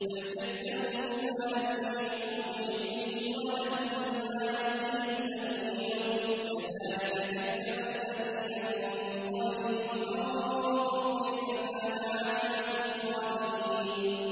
بَلْ كَذَّبُوا بِمَا لَمْ يُحِيطُوا بِعِلْمِهِ وَلَمَّا يَأْتِهِمْ تَأْوِيلُهُ ۚ كَذَٰلِكَ كَذَّبَ الَّذِينَ مِن قَبْلِهِمْ ۖ فَانظُرْ كَيْفَ كَانَ عَاقِبَةُ الظَّالِمِينَ